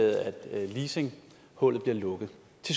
herre rune lund